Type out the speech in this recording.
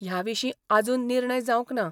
ह्याविशी आजून निर्णय जांवक ना.